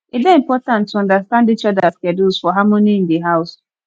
e dey important to understand each others schedules for harmony in the house